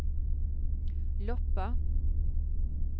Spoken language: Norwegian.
Loppa